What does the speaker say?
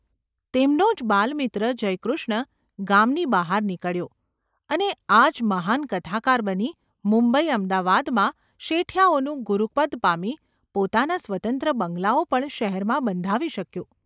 તેમનો જ બાલમિત્ર જયકૃષ્ણ ગામની બહાર નીકળ્યો અને આજ મહાન કથાકાર બની મુંબઈ અમદાવાદમાં શેઠિયાઓનું ગુરુપદ પામી પોતાના સ્વતંત્ર બંગલાઓ પણ શહેરમાં બંધાવી શક્યો.